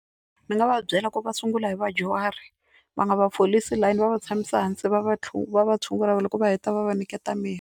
Ndzi nga va byela ku va sungula hi vadyuhari va nga va folisi layini va va tshamisa hansi va va va tshungula loko va heta va va nyiketa mirhi.